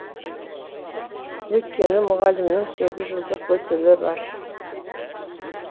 өйткені мұғалімнің сегіз жылдық өтілі бар